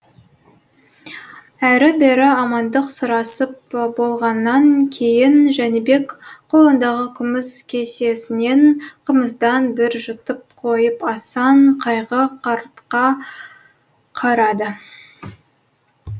әрі бері амандық сұрасып болғаннан кейін жәнібек қолындағы күміс кесесінен қымыздан бір жұтып қойып асан қайғы қартқа қарады